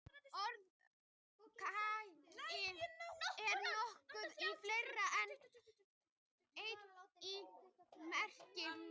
Orðið kaggi er notað í fleiri en einni merkingu.